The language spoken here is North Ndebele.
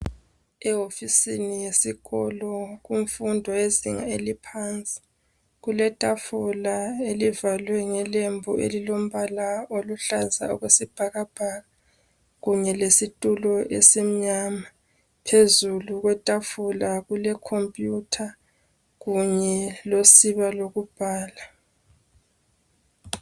Ewofisini yesikolo kumfundo yezinga eliphansi. Kuletafula elivalwe ngelembu elilombala oluhlaza okwesibhakabhaka kunye lesitulo esimnyama, phezulu kwetafula kulecompuyutha kunye losiba lokubhala.